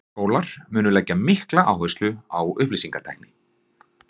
Skólar munu leggja mikla áherslu á upplýsingatækni.